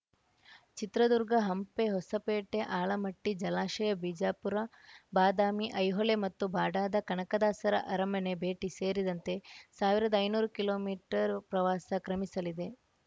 ಚಿತ್ರದುರ್ಗ ಹಂಪೆ ಹೊಸಪೇಟೆ ಆಲಮಟ್ಟಿ ಜಲಾಶಯ ಬಿಜಾಪುರ ಬಾದಾಮಿ ಐಹೊಳೆ ಮತ್ತು ಬಾಡಾದ ಕನಕದಾಸರ ಅರಮನೆ ಭೇಟಿ ಸೇರಿದಂತೆ ಸಾವಿರದ ಐನೂರು ಕಿಲೋ ಮೀಟರ್ ಪ್ರವಾಸ ಕ್ರಮಿಸಲಿದೆ